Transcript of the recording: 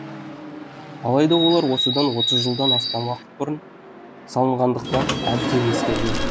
алайда олар осыдан отыз жылдан астам уақыт бұрын салынғандықтан әбден ескірген